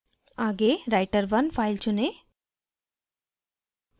आगे writer1 file चुनें